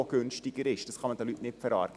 Das kann man den Leuten nicht verargen.